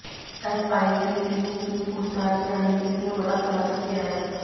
SIT team की पूछताछ में हनीप्रीत ने बड़ा खुलासा किया है